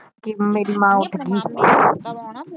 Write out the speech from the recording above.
ਕੇ ਮੇਰੀ ਮਾਂ ਉੱਠ ਗਈ